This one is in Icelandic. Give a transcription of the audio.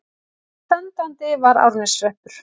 Sendandi var Árneshreppur.